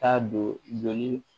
Taa don ni